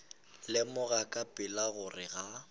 lemoga ka pela gore ga